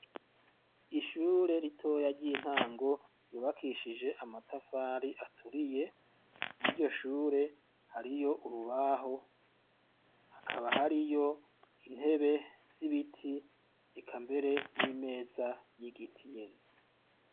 Ishure ritoya ry'intango ryubakishije amatafari aturiye , mw'iryo shure hariyo urubaho hakaba hariyo intebe z'ibiti eka mbere n'imeza y'igiti nyene.